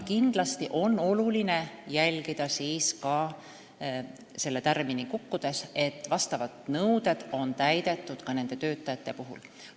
Kindlasti tuleb jälgida, et selle tärmini kukkudes oleks vastavad nõuded täidetud ka töötajate puhul.